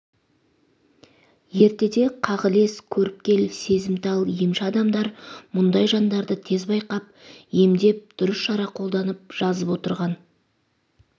ертеде қағілез көріпкел сезімтал емші адамдар мұндай жандарды тез байқап емдеп дұрыс шара қолданып жазып отырған